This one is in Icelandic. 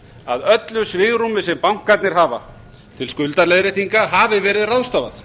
að öllu svigrúmi sem bankarnir hafa til skuldaleiðréttinga hafi verið ráðstafað